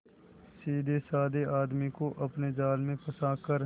सीधेसाधे आदमी को अपने जाल में फंसा कर